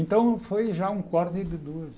Então foi já um de duas.